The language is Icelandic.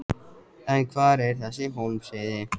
En hvar er þessi Hólmsheiði?